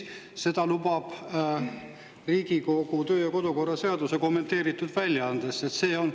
Seda lubab Riigikogu kodu- ja töökorra seaduse kommenteeritud väljaanne.